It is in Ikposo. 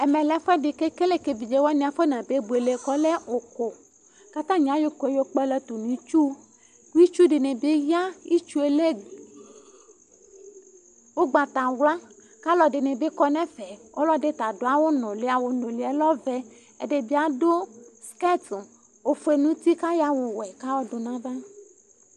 ɛmɛlɛ ɛƒʋɛdi kekele ka evidziewani aƒʋnabe bʋele kekele ʋkʋ mayɔ ʋkʋɛdni yɔkpala tʋ nitsʋ ɛtsʋedini ya itsʋlɛ ʋgbatawla alʋɛdinibi kɔnɛƒɛ ɛdita dʋ awʋnʋli ɔlɛ ɔvɛ adʋ NA oƒʋe nʋti kayɔ awʋwɛ dʋnava